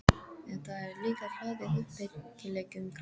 En það er líka hlaðið uppbyggilegum krafti.